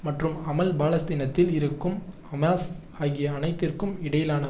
மற்றும் அமல் பாலஸ்தீனத்தில் இருக்கும் ஹமாஸ் ஆகிய அனைத்திற்கும் இடையிலான